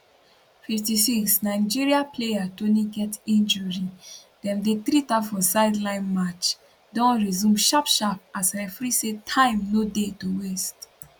56 nigeria player toni get injury dem dey treat her for sideline match don resume sharp sharp as referee say time no dey to waste